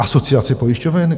Asociace pojišťoven?